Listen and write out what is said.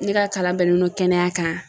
Ne ka kalan bɛnnen do kɛnɛya kan.